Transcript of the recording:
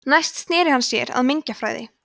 næst sneri hann sér að mengjafræði